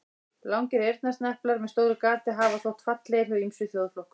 Langir eyrnasneplar með stóru gati hafa þótt fallegir hjá ýmsum þjóðflokkum.